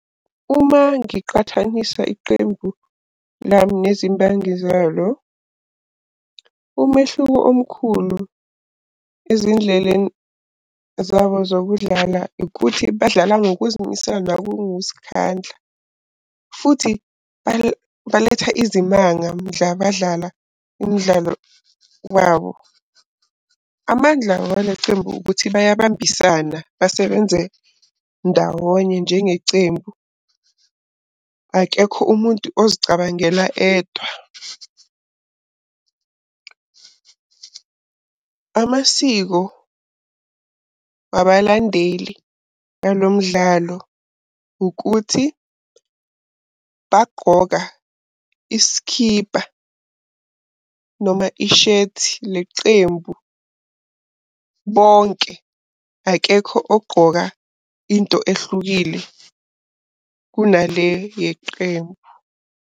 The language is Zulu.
Uma ngiqhathanisa iqembu lami nezimbangi zalo, umehluko omkhulu ezindleleni zabo zokudlala ikuthi badlala ngokuzimisela nangokuzikhandla. Futhi baletha izimanga mdla badlala imidlalo wabo. Amandla wale cembu ukuthi bayambisana basebenze ndawonye njenge cembu, akekho umuntu ozicabangela edwa. Amasiko wabalandeli walo mdlalo ukuthi bagqoka iskhipa noma ishethi lecembu bonke. Akekho ogqoka into ehlukile kunale yeqembu.